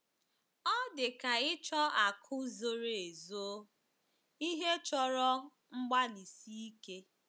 Ọ dị ka ịchọ akụ̀ zoro ezo — ihe chọrọ mgbalịsi ike.